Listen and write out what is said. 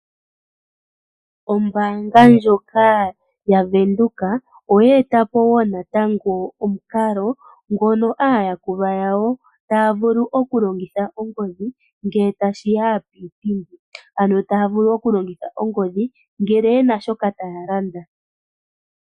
Ombaanga ndjoka yaVenduka oya eta po wo natango omukalo ngono aayakulwa yawo taya vulu oku longitha ongodhi ngele ta shiya piipindi. Ano taya vulu oku longitha ongodhi ngele yena shoka taya landa.